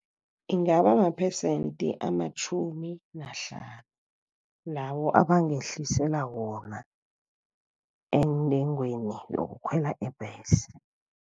Ingaba maphesenti amatjhumi nahlanu, lawo abangehliselwa wona entengweni yokukhwela ibhesi.